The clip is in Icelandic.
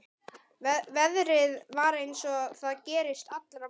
Veðrið var eins og það gerist allra best.